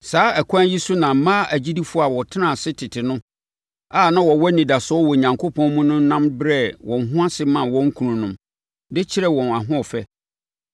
Saa ɛkwan yi so na mmaa agyidifoɔ a wɔtenaa ase tete no a na wɔwɔ anidasoɔ wɔ Onyankopɔn mu no nam brɛɛ wɔn ho ase maa wɔn kununom, de kyerɛɛ wɔn ahoɔfɛ.